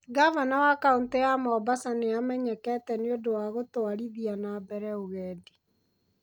Ngavana wa kaũntĩ ya Mombasa nĩ amenyekete nĩ ũndũ wa gũtwarithia na mbere ũgendi.